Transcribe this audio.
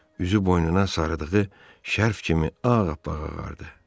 Üzü boynuna sarıdığı şərf kimi ağappaq ağardı.